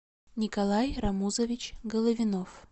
николай рамузович головинов